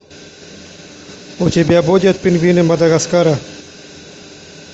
у тебя будет пингвины мадагаскара